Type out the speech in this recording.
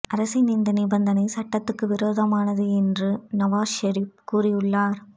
அரசின் இந்த நிபந்தனை சட்டத்துக்கு விரோதமானது என்று நவாஸ் ஷெரீஃப் கூறியுள்ளாா்